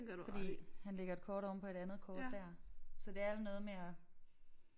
Fordi han lægger et kort ovenpå et andet kort der så det er el noget med at